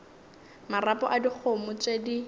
marapo a dikgomo tše di